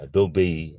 A dɔw bɛ yen